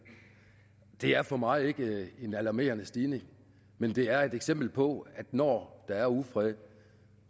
det er for mig ikke en alarmerende stigning men det er et eksempel på at når der er ufred